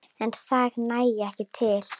En það nægi ekki til.